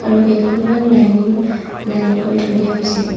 আৰু কেইখনমান dining line কৰি থৈ দিয়া হৈছে।